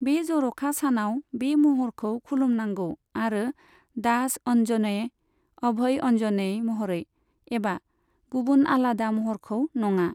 बे जर'खा सानाव बे महरखौ खुलुम नांगौ आरो दास अन्जनेय, अभय अन्जनेय महरै, एबा गुबुन आलादा महरखौ नङा।